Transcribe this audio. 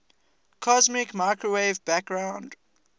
cosmic microwave background